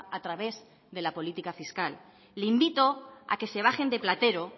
a través de la política fiscal le invito a que se bajen de platero